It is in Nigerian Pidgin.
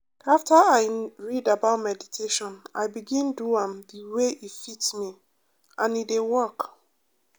after i read about meditation i begin do am the way e fit me and e dey work.